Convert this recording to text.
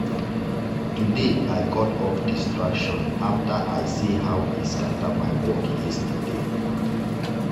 today i cut off distraction after i see how e scatter my work yesterday.